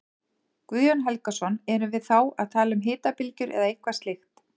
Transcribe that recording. Guðjón Helgason: Erum við þá að tala um hitabylgjur eða eitthvað slíkt?